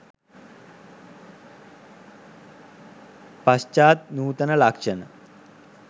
පශ්චාත් නූතන ලක්ෂණ